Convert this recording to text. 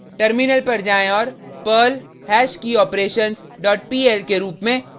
terminal पर जाएँ और perl hashkeyoperations dot pl के रुप में